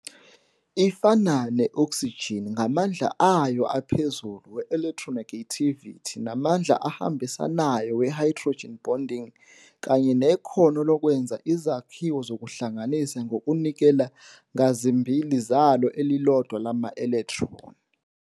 Ifana ne-oksijini ngamandla ayo aphezulu we-electronegativity namandla ahambisanayo we-hydrogen bonding kanye nekhono lokwenza izakhiwo zokuhlanganisa ngokunikela ngazimbili zalo elilodwa lama-electron.